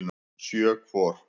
Sjö hvor.